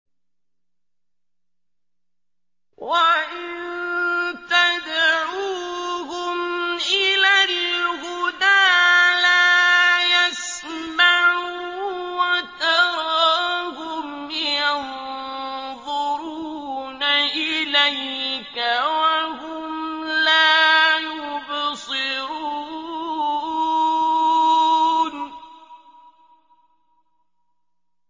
وَإِن تَدْعُوهُمْ إِلَى الْهُدَىٰ لَا يَسْمَعُوا ۖ وَتَرَاهُمْ يَنظُرُونَ إِلَيْكَ وَهُمْ لَا يُبْصِرُونَ